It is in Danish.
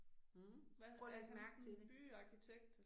Mh prøv og læg mærke til det